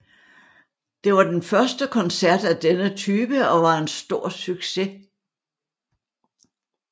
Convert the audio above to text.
Det var den første koncert af denne type og var en en stor succes